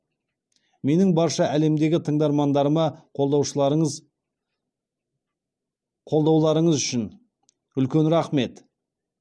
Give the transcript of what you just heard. менің барша әлемдегі тыңдармандарыма қолдаушыларыныз қолдауларыңыз үшін үлкен рақмет